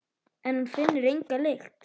En hún finnur enga lykt.